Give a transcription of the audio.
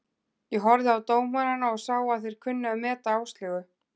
Ég horfði á dómarana og sá að þeir kunnu að meta Áslaugu.